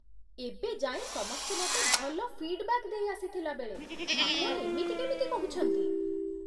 ଏବେ ଯାଏଁ ସମସ୍ତେ ମତେ ଭଲ ଫିଡ୍‌ବ୍ୟାକ୍ ଦେଇ ଆସିଥିଲାବେଳେ, ଆପଣ ଏମିତି କେମିତି କହୁଛନ୍ତି!